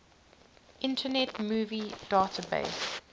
internet movie database